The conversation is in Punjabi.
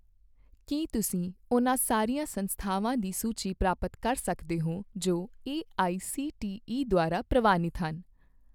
ਕੀ ਤੁਸੀਂ ਉਹਨਾਂ ਸਾਰੀਆਂ ਸੰਸਥਾਵਾਂ ਦੀ ਸੂਚੀ ਪ੍ਰਾਪਤ ਕਰ ਸਕਦੇ ਹੋ ਜੋ ਏਆਈਸੀਟੀਈ ਦੁਆਰਾ ਪ੍ਰਵਾਨਿਤ ਹਨ?